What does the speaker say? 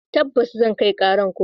Tabbas zan kai karar kotu.